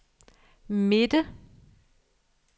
midte